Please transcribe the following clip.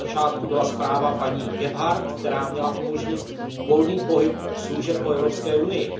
Na začátku byla zpráva paní Gebhardt, která měla umožnit volný pohyb služeb po Evropské unii.